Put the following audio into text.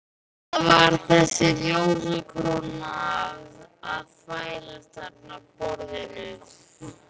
Hvað er þessi ljósakróna að þvælast þarna á borðinu.